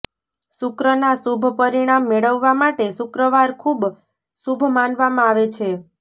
શુક્રના શુભ પરિણામ મેળવવા માટે શુક્રવાર ખૂબ શુભ માનવામાં આવે છે